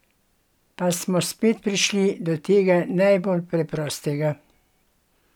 Pa smo spet prišli do tega najbolj preprostega!